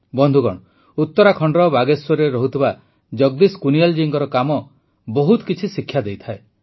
ବନ୍ଧୁଗଣ ଉତରାଖଣ୍ଡର ବାଗେଶ୍ୱରରେ ରହୁଥିବା ଜଗଦୀଶ କୁନିୟାଲ ଜୀଙ୍କ କାମ ମଧ୍ୟ ବହୁତ କିଛି ଶିକ୍ଷା ଦେଇଥାଏ